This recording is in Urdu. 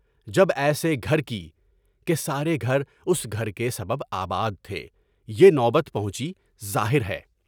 جب ایسے گھر کی (کہ سارے گھراس گھر کے سب آباد تھے) یہ نوبت پہنچی، ظاہر ہے۔